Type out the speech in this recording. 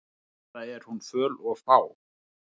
Eða er hún föl og fá?